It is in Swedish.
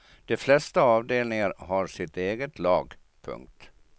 De flesta avdelningar har sitt eget lag. punkt